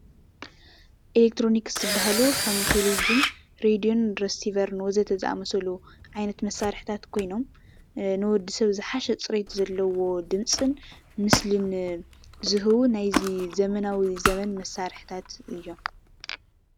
ኤሌክትሮኒክስ ዝበሃሉ ከም ቴሌቪዝ፣ ሬድዮን ረሲቨርን ዝበሉ ወዘተ ዝአመሰሉ ዓይነት መሳርሒታት ኮይኖም ንወዲ ሰብ ዝሓሸ ፅሬት ዘለዎ ድምፂን ምስሊን ዝህቡ ናይዚ ዘመናዊ ዘበን መሳርሒታት እዮም፡፡